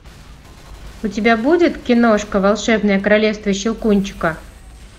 у тебя будет киношка волшебное королевство щелкунчика